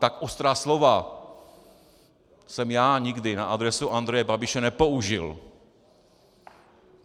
Tak ostrá slova jsem já nikdy na adresu Andreje Babiše nepoužil.